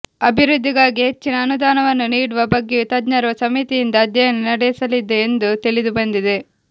ಅಭಿವೃದ್ಧಿಗಾಗಿ ಹೆಚ್ಚಿನ ಅನುದಾನವನ್ನು ನೀಡುವ ಬಗ್ಗೆಯೂ ತಜ್ಞರ ಸಮಿತಿಯಿಂದ ಅಧ್ಯಯನ ನಡೆಸಲಿದೆ ಎಂದು ತಿಳಿದುಬಂದಿದೆ